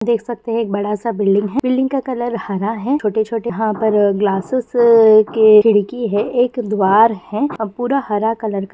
देख सकते हैं एक बड़ा सा बिल्डिंग है बिल्डिंग का कलर हरा है छोटे-छोटे यहाँ पर ग्लासेज के खिड़की हैं एक द्वार है और पूरा हरा कलर का --